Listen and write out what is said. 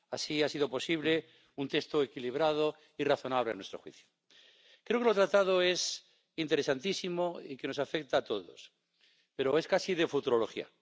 Así, ha sido posible un texto equilibrado y razonable a nuestro juicio. Creo que lo tratado es interesantísimo y que nos afecta a todos, pero es casi de futurología.